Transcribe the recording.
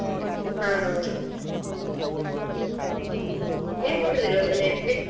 ಹಾ ನೀವ್ ಮಾಡುದಿಲ್ವ ಮನೆಯಲ್ಲಿ?